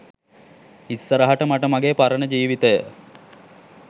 ඉස්සරහට මට මගෙ පරණ ජීවිතය